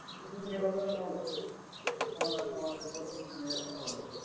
তুমি ও সে কথাটা বল। তুমি তোমার reporting manager কে বল।